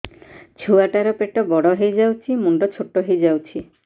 ଛୁଆ ଟା ର ପେଟ ବଡ ହେଇଯାଉଛି ମୁଣ୍ଡ ଛୋଟ ହେଇଯାଉଛି